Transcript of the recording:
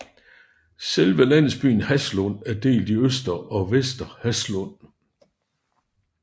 Selve landsbyen Haslund er delt i Øster og Vester Haslund